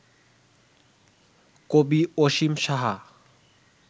কবি অসীম সাহা